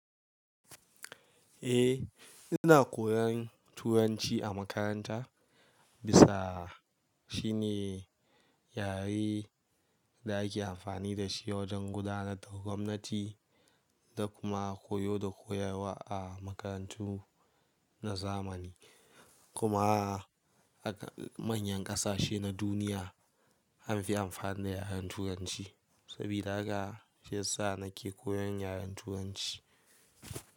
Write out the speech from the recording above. Eh ina koyan Turanci a makaranta bisa shi ne yare da ake amfani da shi wajen gudanar da gwamnati da kuma koyo da koyarwa a makarantu na zamani. Kuma haka manyan kasashe na duniya an fi amfani da yaren Turanci sabida haka shi ya sa nake koyan yaren Turanci.